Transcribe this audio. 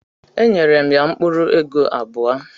Enyere m ya mkpuru ego abuo